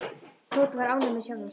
Tóti var ánægður með sjálfan sig.